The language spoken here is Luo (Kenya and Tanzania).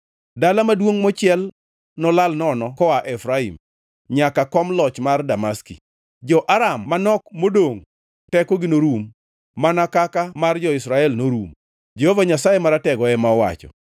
Dala maduongʼ mochiel nolal nono koa Efraim nyaka kom loch man Damaski; jo-Aram manok modongʼ tekogi norum mana kaka mar jo-Israel norumo,” Jehova Nyasaye Maratego ema owacho.